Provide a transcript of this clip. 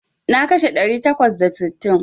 Na kashe ɗari takwas da sittin.